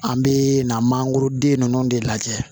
An bɛ na mangoroden ninnu de lajɛ